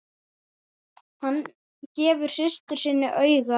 Hann gefur systur sinni auga.